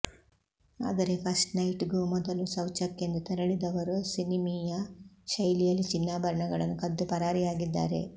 ಆದರೆ ಫಸ್ಟ್ ನೈಟ್ಗೂ ಮೊದಲು ಶೌಚಕ್ಕೆಂದು ತೆರಳಿದವರು ಸಿನಿಮೀಯ ಶೈಲಿಯಲ್ಲಿ ಚಿನ್ನಾಭರಣಗಳನ್ನು ಕದ್ದು ಪರಾರಿಯಾಗಿದ್ದಾರೆ